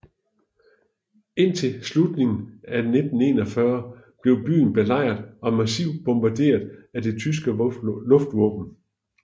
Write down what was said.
Indtil slutningen af 1941 blev byen belejret og massivt bombaderet af det tyske luftvåben